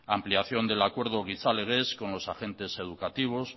ampliación del acuerdo gizalegez con los agentes educativos